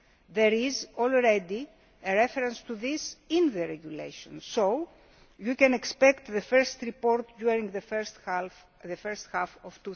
There is already a reference to this in the Regulation, so you can expect the first report during the first half